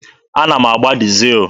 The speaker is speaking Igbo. Ana m agbata dizel.